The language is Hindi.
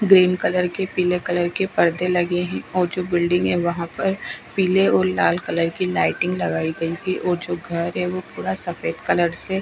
ग्रीन कलर के पीले कलर के परदे लगे हैं और जो बिल्डिंग है वहां पर पीले और लाल कलर की लाइटिंग लगाई गई है और जो घर है वो पूरा सफेद कलर से--